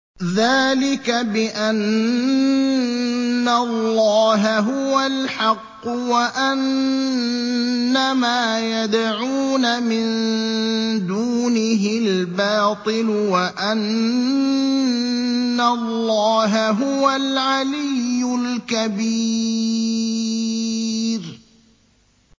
ذَٰلِكَ بِأَنَّ اللَّهَ هُوَ الْحَقُّ وَأَنَّ مَا يَدْعُونَ مِن دُونِهِ الْبَاطِلُ وَأَنَّ اللَّهَ هُوَ الْعَلِيُّ الْكَبِيرُ